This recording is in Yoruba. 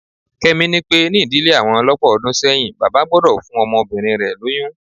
Kẹ́mi ni pé ní ìdílé àwọn lọ́pọ̀ ọdún sẹ́yìn, bàbá gbọ́dọ̀ fún ọmọbìnrin rẹ lóyún